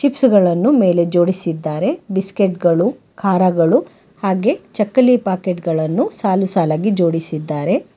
Chips ಗಳನ್ನು ಮೇಲೆ ಜೋಡಿಸಿದ್ದಾರೆ ಬಿಸ್ಕೆಟ್ ಗಳು ಖಾರಗಳು ಹಾಗೆ ಚಕ್ಕಲಿ ಪಾಕೆಟ್ ಗಳನ್ನು ಸಾಲು ಸಾಲಾಗಿ ಜೋಡಿಸಿದ್ದಾರೆ.